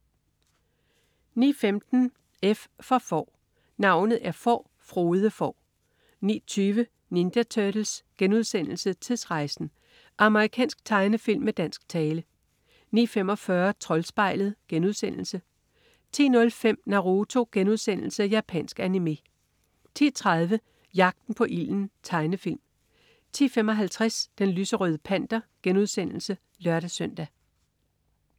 09.15 F for Får. Navnet er Får, Frode Får 09.20 Ninja Turtles: Tidsrejsen! Amerikansk tegnefilm med dansk tale 09.45 Troldspejlet* 10.05 Naruto.* Japansk animé 10.30 Jagten på ilden. Tegnefilm 10.55 Den lyserøde Panter* (lør-søn)